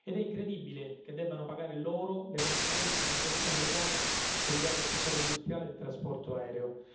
È incredibile che debbano pagare loro le conseguenze di una questione legale che riguarda il settore industriale del trasporto aereo.